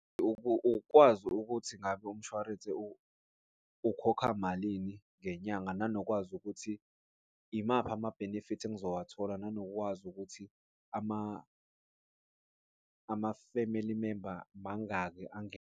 Ukwazi ukuthi ngabe umshwarensi ukhokha malini ngenyanga nanokwazi ukuthi imaphi ama-benefits engizowathola nanokwazi ukuthi ama-family member mangaki .